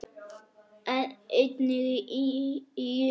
Einnig í Ísrael.